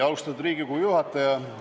Austatud Riigikogu juhataja!